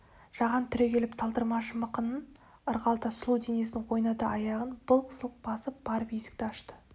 жаған түрегеліп талдырмаш мықынын ырғалта сұлу денесін ойната аяғын былқ-сылқ басып барып есікті ашты